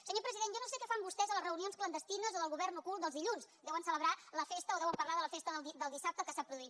senyor president jo no sé què fan vostès a les reunions clandestines o del govern ocult dels dilluns deuen celebrar la festa o deuen parlar de la festa del dissabte que s’ha produït